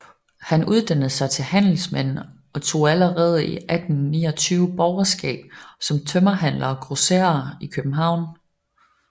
Han uddannede sig til handelsmand og tog allerede 1829 borgerskab som tømmerhandler og grosserer i København